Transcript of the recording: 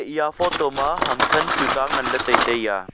eya photo ma ham than tuta ngan ley tai tai ya.